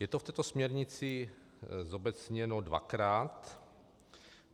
Je to v této směrnici zobecněno dvakrát.